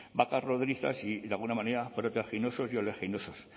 vacas y de alguna manera y oleaginosos